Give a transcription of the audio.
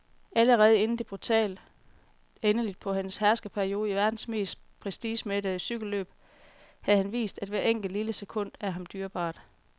Allerede inden det brutale endeligt på hans herskerperiode i verdens mest prestigemættede cykelløb havde han vist, at hvert enkelt, lille sekund er ham dyrebart.